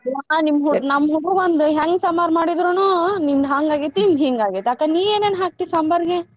ದಿನಾ ನಿಮ್ಮ್ ಹುಡ್~ ನಮ್ಮ್ ಹುಡುಗ್ರುಗೊಂದು ಹೆಂಗ್ ಸಾಂಬಾರ ಮಾಡಿದ್ರುನು ನಿಂದ್ ಹಂಗ್ ಆಗೆತಿ ನಿಂದ್ ಹಿಂಗ್ ಆಗೆತಿ ಅಕ್ಕಾ ನೀ ಏನೇನ ಹಾಕ್ತಿ ಸಾಂಬಾರ್ಗೆ?